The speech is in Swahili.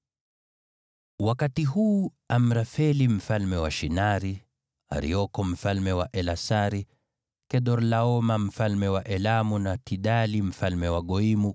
Wakati huu Amrafeli mfalme wa Shinari, Arioko mfalme wa Elasari, Kedorlaoma mfalme wa Elamu, na Tidali mfalme wa Goimu